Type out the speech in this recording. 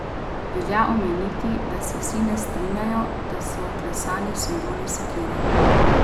Velja omeniti, da se vsi ne strinjajo, da so vklesani simboli sekire.